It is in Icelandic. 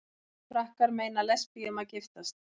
Frakkar meina lesbíum að giftast